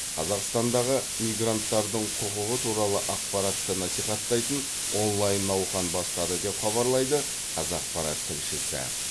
қазақстандағы мигранттардың құқығы туралы ақпаратты насихаттайтын онлайн науқан бастады деп хабарлайды қазақпарат тілшісі